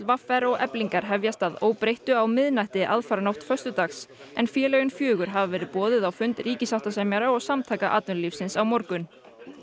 v r og Eflingar hefjast að óbreyttu á miðnætti aðfaranótt föstudags en félögin fjögur hafa verið boðuð á fund ríkissáttasemjara og Samtaka atvinnulífsins á morgun